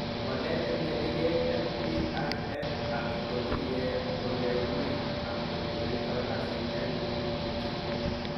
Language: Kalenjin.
Walet en keneyeek LPIN@ kotinye ole wuuy ak ole yaito kasit lipin 2.